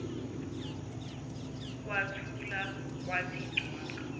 kwathula kwathi cwaka